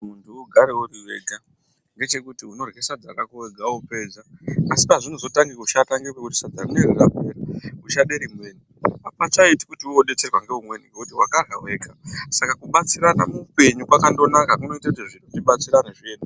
Munhu ugare uri wega ngechekuti unorye sadza rako wega wopedza asi pazvinozotange kushata ngepekuti sadza rineiri rapera uchade rimweni apachaiti kuti woodetserwa ngeumweni ngekuti wakarya wega saka kubatsirana muupenyu kwakandonaka kunoite kuti zviro tibatsirane zviendeke.